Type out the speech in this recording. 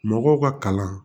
Mɔgɔw ka kalan